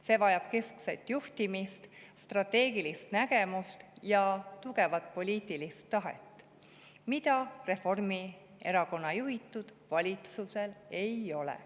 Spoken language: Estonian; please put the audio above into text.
See vajab keskset juhtimist, strateegilist nägemust ja tugevat poliitilist tahet, mida Reformierakonna juhitud valitsusel ei ole.